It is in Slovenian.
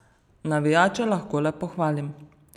Navijače lahko le pohvalim.